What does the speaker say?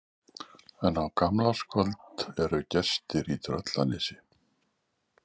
En á gamlárskvöld eru gestir í Tröllanesi.